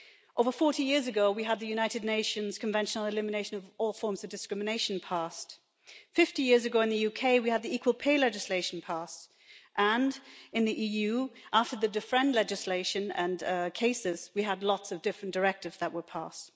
Over 40 years ago, we had the United Nations Convention on the Elimination of all Forms of Discrimination against Women passed. Fifty years ago in the UK, we had the equal pay legislation passed and, in the EU, after the Defrenne legislation and cases, we had lots of different directives that were passed.